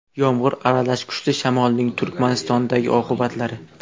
Yomg‘ir aralash kuchli shamolning Turkmanistondagi oqibatlari.